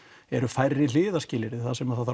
eru færri hliðarskilyrði þar sem þarf